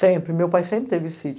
Sempre, meu pai sempre teve sítio.